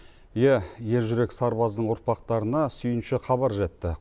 иә ержүрек сарбаздың ұрпақтарына сүйінші хабар жетті